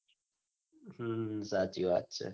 હમ સાચી વાત છે.